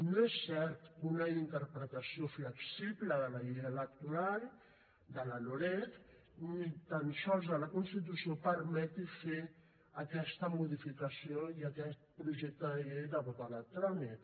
no és cert que una interpretació flexible de la llei electoral de la loreg ni tan sols de la constitució permeti fer aquesta modificació i aquest projecte de llei de vot electrònic